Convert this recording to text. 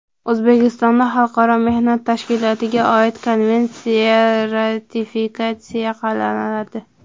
O‘zbekistonda Xalqaro mehnat tashkilotiga oid Konvensiya ratifikatsiya qilinadi.